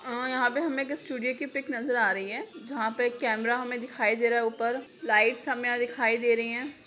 अ यहाँ पे हमे एक स्टूडियो की पिक नजर आ रही है जहां पे हमे कैमरा हमे दिखाई दे रहा है ऊपर लाइट्स हमे यहाँ दिखाई दे रही है।